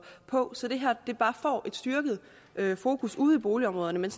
på sådan at fokus ude i boligområderne